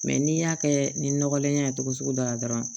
Mɛ n'i y'a kɛ ni nɔgɔlenya ye cogo sugu dɔ la dɔrɔn